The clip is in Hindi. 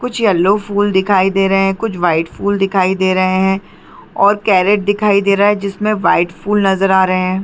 कुछ येलो फुल दिखाई दे रहे है कुछ वाइट फुल दिखाई दे रहे है और केरेट दिखाई दे रहे है जिसमे वाइट फुल नज़र आ रहे है।